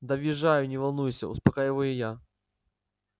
да въезжаю не волнуйся успокаиваю я